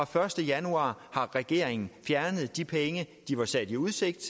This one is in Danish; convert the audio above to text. første januar har regeringen fjernet de penge de var stillet i udsigt